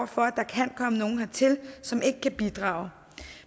for at der kan komme nogle hertil som ikke kan bidrage